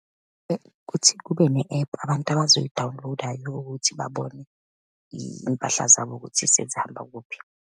Ukuthi kube ne-ephu abantu abazoyidawuniloda yokuthi babone iy'mpahla zabo sezihamba kuphi.